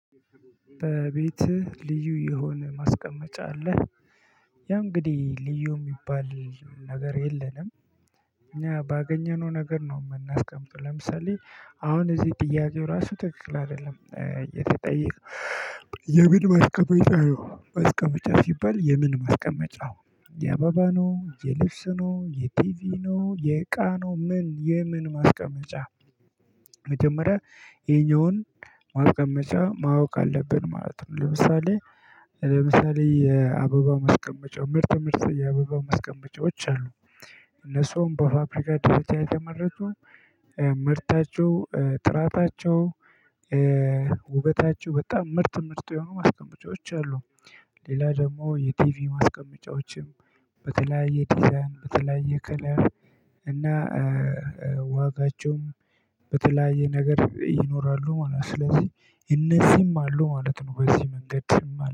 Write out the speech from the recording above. በቤትህ ልዩ የሆነ ማስቀመጫ አለህ? ያው እንግዲህ ልዩ የሚባል ነገር የለንም። እኛ ባገኘነው ነገር ነው የምናስቀምጠው። ለምሳሌ አሁን እዚህ ጥያቄው ራሱ ትክክል አይደለም የተጠየቀው የምን ማስቀመጫ ነው ማስቀመጫ ሲባል የምን ማስቀመጫ የአበባ ነው የልብስ ነው የቲቪ ነው የእቃ ነው ምን የምን ማስቀመጫ መጀመሪያ ይኛውን ማስቀመጫ ማወቅ አለብን ማለት ለምሳሌ ለምሳሌ የአበባ ማስቀመጫው ምርጥ ምርጥ የአበባ ማስቀመጫዎች አሉ እነሱም በፋብሪካ ደረጃ የተመረቱ ምርታቸው ጥራታቸው ውበታቸው በጣም ምርጥ ምርጡ የሆኑ ማስቀመጫዎች አሉ ሌላ ደግሞ የቲቪ ማስቀመጫዎችም በተለያየ ዲዛይን በተለያየ ከለር እና ዋጋቸውም በተለያየ ነገር ይኖራሉ ማለት ነው ስለዚህ እነዚህም አሉ ማለት ነው በዚህ መንገድ